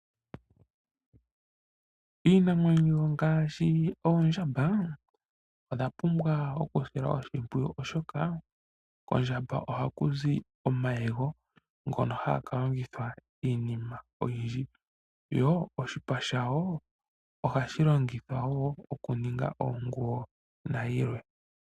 Iinamwenyo ngaashi oondjamba odha pumbwa oku silwa oshipwiyu oshoka kondjamba ohaku zi omayego ,ngono haga ka longithwa iinima oyindji. Yo oshipa shayo ohashilongithwa wo okuninga oonguyo nayi lwe.